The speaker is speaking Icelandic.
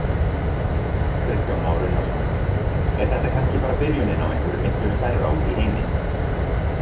Kristján Már Unnarsson: Er þetta kannski bara byrjunin á einhverju miklu stærra úti í heimi?